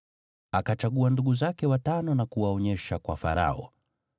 Akachagua ndugu zake watano na kuwaonyesha kwa Farao.